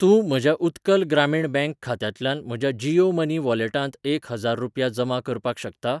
तूं म्हज्या उत्कल ग्रामीण ब्यांक खात्यांतल्यान म्हज्या जीयो मनी वॉलेटांत एक हजार रुपया जमा करपाक शकता?